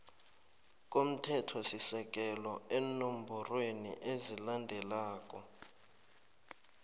komthethosisekelo eenomborweni ezilandelako